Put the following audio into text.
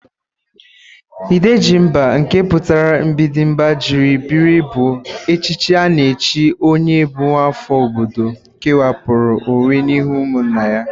Ịdejimba nke pụtara mgbịdị mba jiri biri bụ echichi a na-echi onye bụ nwaafọ obodo kewapụrụ onwe n'ihu ụmụnna ya.